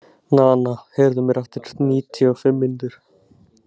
Nana, heyrðu í mér eftir níutíu og fimm mínútur.